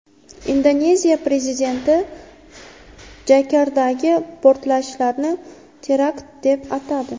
Indoneziya prezidenti Jakartadagi portlashlarni terakt deb atadi.